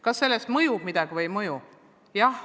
" Kas see mõjub kuidagi või ei mõju?